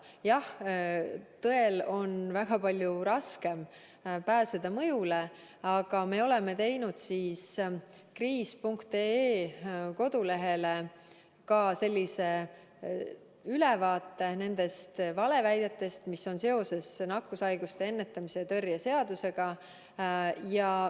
Jah, tõel on väga palju raskem pääseda mõjule, aga me oleme teinud kodulehele kriis.ee ka sellise ülevaate nendest valeväidetest, mis on levimas seoses nakkushaiguste ennetamise ja tõrje seadusega.